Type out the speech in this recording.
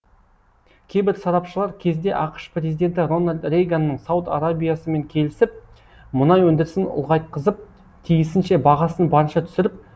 кейбір сарапшылар кезінде ақш президенті рональд рейганның сауд арабиясымен келісіп мұнай өндірісін ұлғайтқызып тиісінше бағасын барынша түсіріп